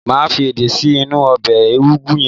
Màá fi èdé sí inú ọbẹ̀ ewédú yẹn